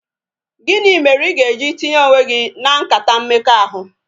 Gịnị mere I ga-eji tinye onwe gị na nkata mmekọahụ?